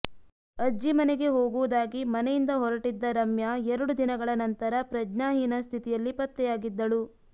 ಅಜ್ಜಿ ಮನೆಗೆ ಹೋಗುವುದಾಗಿ ಮನೆಯಿಂದ ಹೊರಟ್ಟಿದ್ದ ರಮ್ಯಾ ಎರಡು ದಿನಗಳ ನಂತರ ಪ್ರಜ್ಞಾಹೀನ ಸ್ಥಿತಿಯಲ್ಲಿ ಪತ್ತೆಯಾಗಿದ್ದಳು